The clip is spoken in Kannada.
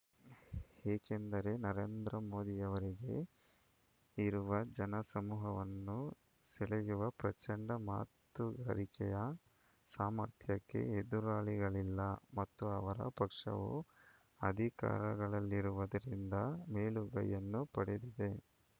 ಏಕೆಂದರೆ ನರೇಂದ್ರ ಮೋದಿಯವರಿಗೆ ಇರುವ ಜನಸಮೂಹವನ್ನು ಸೆಳೆಯುವ ಪ್ರಚಂಡ ಮಾತುಗಾರಿಕೆಯ ಸಾಮರ್ಥ್ಯಕ್ಕೆ ಎದುರಾಳಿಗಳಿಲ್ಲ ಮತ್ತು ಅವರ ಪಕ್ಷವು ಅಧಿಕಾರಗಳ ಲ್ಲಿರುವುದರಿಂದ ಮೇಲುಗೈಯನ್ನು ಪಡೆದಿದೆ